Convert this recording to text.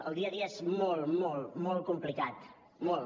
el dia a dia és molt molt complicat molt